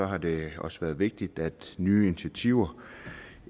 har det også været vigtigt at nye initiativer